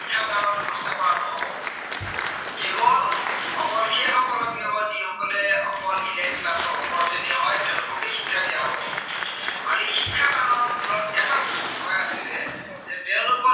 কেৱল অকল সেইসকলৰ কি হব যি সকলে elite class ৰ ওপৰ শ্ৰণীৰ হয়, তেওঁলোকক হে শিক্ষা দিয়ী হব। আৰু এই শিক্ষাদানৰ মূলত এটা বস্তু সোমাই আছিলে যে তেওঁলোকক